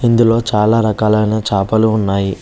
ఇందులో చాలా రకాలైన చాపలు ఉన్నాయి.